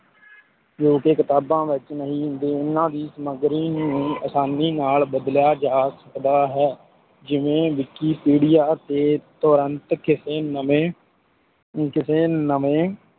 ਜੋ ਕਿ ਕਿਤਾਬਾਂ ਵਿੱਚ ਨਹੀਂ ਹੁੰਦੇ, ਇਹਨਾਂ ਦੀ ਸਮੱਗਰੀ ਨੂੰ ਆਸਾਨੀ ਨਾਲ ਬਦਲਿਆ ਜਾ ਸਕਦਾ ਹੈ, ਜਿਵੇਂ ਵਿਕਿਪੀਡਿਆ ਤੇ ਤੁਰੰਤ ਕਿਸੇ ਨਵੇ ਕਿਸੇ ਨਵੇਂ